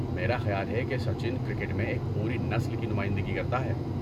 میرا خیال ہے کہ سچن کرکٹ میں ایک پوری نسل کی نمائندگی کرتا ہے۔